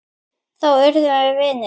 Þá urðum við vinir.